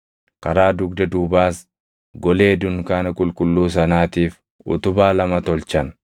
Karaa dugda duubaas golee dunkaana qulqulluu sanaatiif utubaa lama tolchan.